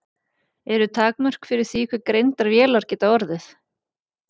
Eru takmörk fyrir því hve greindar vélar geta orðið?